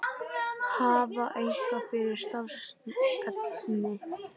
Hafa eitthvað fyrir stafni.